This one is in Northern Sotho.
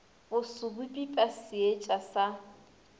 boso bo pipa seetša sa